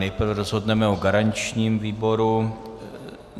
Nejprve rozhodneme o garančním výboru.